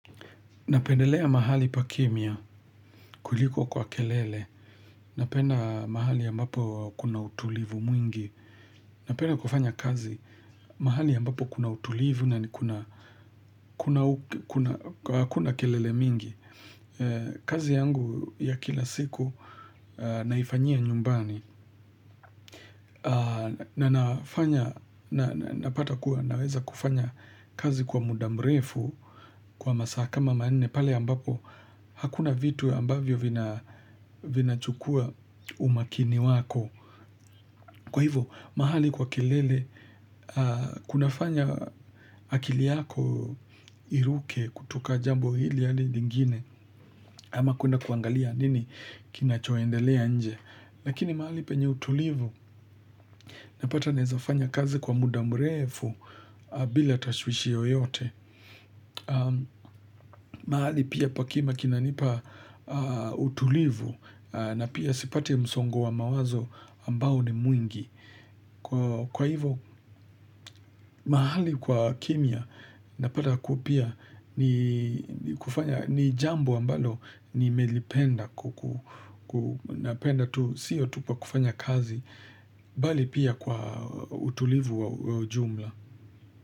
Napendelea mahali pakimya, kuliko kwa kelele, napenda mahali ambapo kuna utulivu mwingi, napenda kufanya kazi, mahali ambapo kuna utulivu hakuna kelele. Kazi yangu ya kila siku naifanyia nyumbani. Na napata kuwa naweza kufanya kazi kwa muda mrefu. Kwa masaa kama manne pale ambapo hakuna vitu ambavyo vinachukua umakini wako. Kwa hivo mahali kwa kilele kunafanya akili yako iruke kutoka jambo hili hadi lingine. Ama kuna kuangalia nini. Kinachoendelea nje. Lakini mahali penye utulivu napata naweza fanya kazi kwa muda mrefu. Bila tashwishi yoyote mahali pia pakimya kinanipa utulivu. Na pia sipati msongo wa mawazo ambao ni mwingi. Kwa hivyo mahali kwa kimya napata kupia ni kufanya ni jambo ambalo nimelipenda ku ku napenda tu siyo tu pa kufanya kazi bali pia kwa utulivu wa jumla.